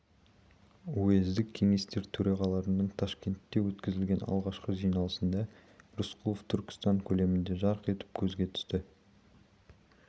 уездік кеңестер төрағаларының ташкентте өткізілген алғашқы жиналысында рысқұлов түркістан көлемінде жарқ етіп көзге түсті